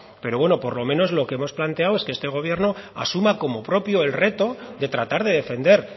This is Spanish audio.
pero bueno por lo menos lo que hemos planteado es que este gobierno asuma como propio el reto de tratar de defender